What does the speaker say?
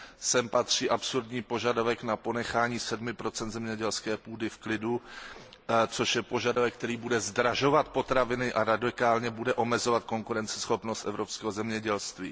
Sem patří absurdní požadavek na ponechání 7 zemědělské půdy v klidu, což je požadavek, který bude zdražovat potraviny a radikálně bude omezovat konkurenceschopnost evropského zemědělství.